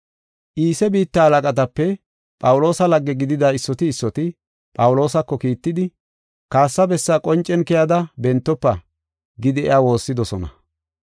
Iise biitta halaqatape Phawuloosa lagge gidida issoti issoti Phawuloosako kiittidi, “Kaassa bessa qoncen keyada bentofa” gidi iya woossidosona.